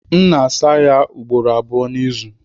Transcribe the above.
M na-asa ya ugboro abụọ n'izu.